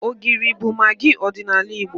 Ogiri bụ magị ọdịnala Igbo.